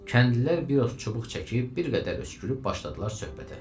Kəndlilər biros çubuq çəkib, bir qədər öskürüb başladılar söhbətə.